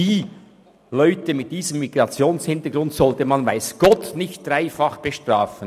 diese Leute mit entsprechendem Migrationshintergrund sollte man weiss Gott nicht dreifach bestrafen.